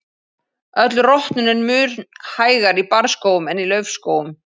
Öll rotnun er mun hægar í barrskógum en í laufskógum.